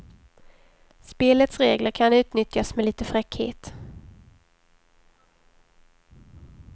Spelets regler kan utnyttjas med lite fräckhet.